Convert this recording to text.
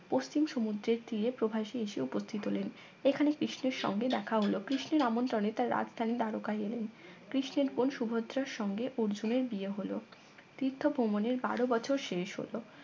পশ্চিম সমুদ্রের তীরে প্রভাসী এসে উপস্থিত হলেন এখানে কৃষ্ণের সঙ্গে দেখা হল কৃষ্ণের আমন্ত্রনে তার রাজধানী দ্বারকা গেলেন কৃষ্ণের বোন সুভদ্রার সঙ্গে অর্জুনের বিয়ে হল তীর্থ ভ্রমণের বারো বছর শেষ হল